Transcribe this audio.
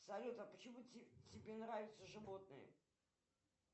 салют а почему тебе нравятся животные